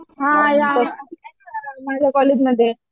हां माझ्या कॉलेजमध्ये.